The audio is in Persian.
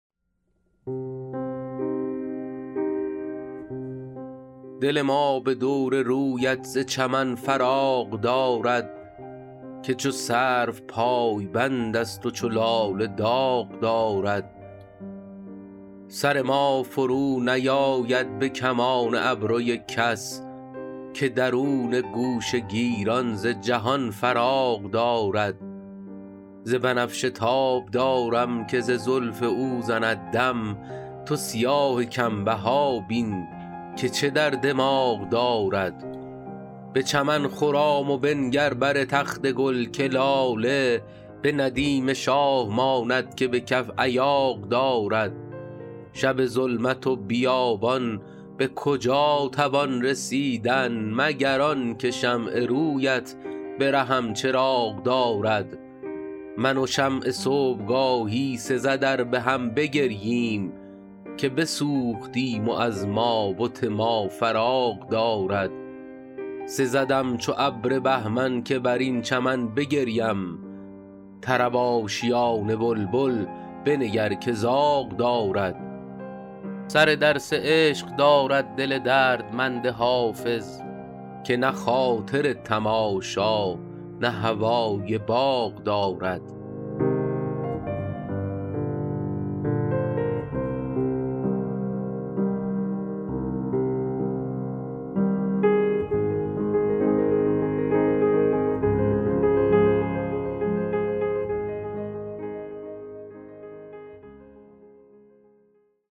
دل ما به دور رویت ز چمن فراغ دارد که چو سرو پایبند است و چو لاله داغ دارد سر ما فرونیآید به کمان ابروی کس که درون گوشه گیران ز جهان فراغ دارد ز بنفشه تاب دارم که ز زلف او زند دم تو سیاه کم بها بین که چه در دماغ دارد به چمن خرام و بنگر بر تخت گل که لاله به ندیم شاه ماند که به کف ایاغ دارد شب ظلمت و بیابان به کجا توان رسیدن مگر آن که شمع روی ات به رهم چراغ دارد من و شمع صبح گاهی سزد ار به هم بگرییم که بسوختیم و از ما بت ما فراغ دارد سزدم چو ابر بهمن که بر این چمن بگریم طرب آشیان بلبل بنگر که زاغ دارد سر درس عشق دارد دل دردمند حافظ که نه خاطر تماشا نه هوای باغ دارد